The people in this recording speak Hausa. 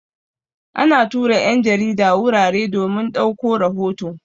Ana tura 'yan jarida wurare domin ɗauko rahoto.